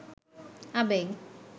আবেগ